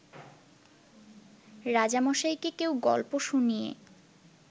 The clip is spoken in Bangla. রাজামশাইকে কেউ গল্প শুনিয়ে